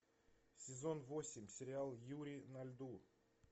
сезон восемь сериал юри на льду